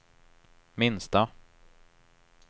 minsta